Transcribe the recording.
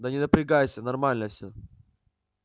да не напрягайся нормально все